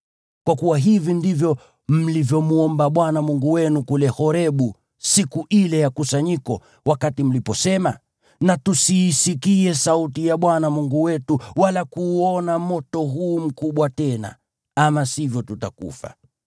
Kwa kuwa hivi ndivyo mlivyomwomba Bwana Mungu wenu kule Horebu siku ile ya kusanyiko, wakati mliposema, “Na tusiisikie sauti ya Bwana Mungu wetu, wala kuuona moto huu mkubwa tena, ama sivyo tutakufa.”